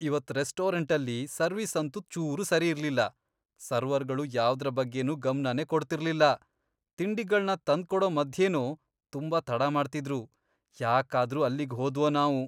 ಇವತ್ ರೆಸ್ಟೋರೆಂಟಲ್ಲಿ ಸರ್ವಿಸ್ ಅಂತೂ ಚೂರೂ ಸರಿಯಿರ್ಲಿಲ್ಲ. ಸರ್ವರ್ಗಳು ಯಾವ್ದ್ರ ಬಗ್ಗೆನೂ ಗಮ್ನನೇ ಕೊಡ್ತಿರ್ಲಿಲ್ಲ, ತಿಂಡಿಗಳ್ನ ತಂದ್ಕೊಡೋ ಮಧ್ಯೆನೂ ತುಂಬಾ ತಡ ಮಾಡ್ತಿದ್ರು. ಯಾಕಾದ್ರೂ ಅಲ್ಲಿಗ್ ಹೋದ್ವೋ ನಾವು.